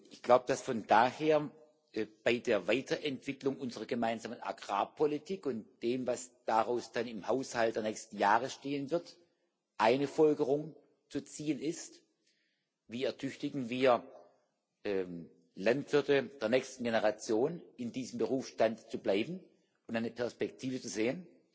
Ich glaube, dass von daher bei der Weiterentwicklung unserer gemeinsamen Agrarpolitik und dem, was daraus dann im Haushalt der nächsten Jahre stehen wird, eine Folgerung zu ziehen ist Wie ertüchtigen wir Landwirte der nächsten Generationen, in diesem Berufsstand zu bleiben und eine Perspektive zu sehen,